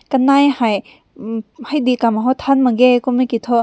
kanai hai hmm hi dicum taün mangge kum meh ki toh.